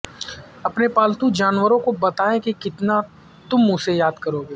اپنے پالتو جانور کو بتائیں کہ کتنا تم اسے یاد کرو گے